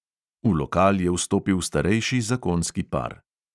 V lokal je vstopil starejši zakonski par.